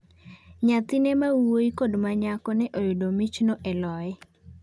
Nyathine ma wuoyi kod ma nyako ne oyudo michno e loye.